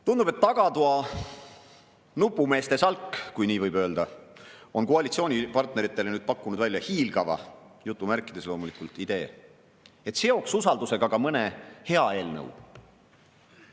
Tundub, et tagatoa nupumeeste salk, kui nii võib öelda, on koalitsioonipartneritele pakkunud välja hiilgava, jutumärkides loomulikult, idee, et seoks usaldusega ka mõne hea eelnõu.